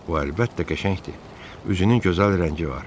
O əlbəttə qəşəngdir, üzünün gözəl rəngi var.